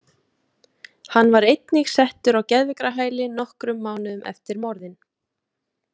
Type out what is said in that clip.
Hann var einnig settur á geðveikrahæli nokkrum mánuðum eftir morðin.